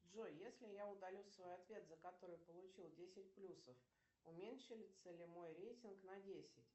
джой если я удалю свой ответ за который получила десять плюсов уменьшится ли мой рейтинг на десять